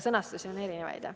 Sõnastusi on erinevaid.